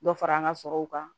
Dɔ fara an ka sɔrɔw kan